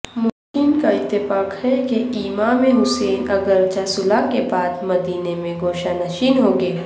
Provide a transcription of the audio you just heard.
مورخین کااتفاق ہے کہ امام حسن اگرچہ صلح کے بعد مدینہ میں گوشہ نیشین ہوگئے